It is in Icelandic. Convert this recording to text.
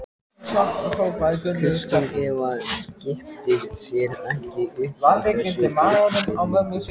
Kristín Eva kippti sér ekki upp við þessa yfirlýsingu.